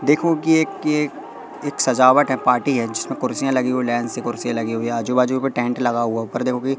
देखो की एक ये एक एक सजावट है पार्टी है जिसमें कुर्सियां लगी हुई है लाइन से कुर्सीयाँ लगी हुई है आजू बाजू में टेंट लगा हुआ है ऊपर देखो की--